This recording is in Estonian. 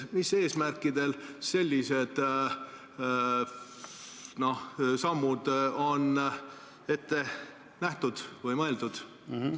Mis eesmärkidel sellised sammud on ette nähtud või mõeldud?